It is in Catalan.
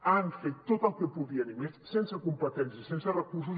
han fet tot el que podien i més sense competències i sense recursos